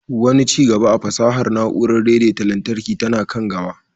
Wani ci gaba a fasahar na'urar daidaita lantarki tana kan gaba